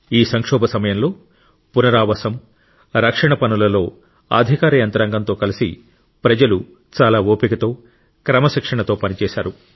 ఈ సంక్షోభం సమయంలో పునరావాసం రక్షణ పనులలో అధికార యంత్రాంగం తో కలిసి ప్రజలు చాలా ఓపికతో క్రమశిక్షణతో పనిచేశారు